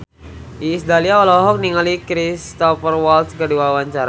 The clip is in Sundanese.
Iis Dahlia olohok ningali Cristhoper Waltz keur diwawancara